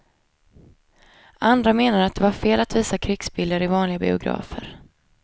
Andra menade att det var fel att visa krigsbilder i vanliga biografer.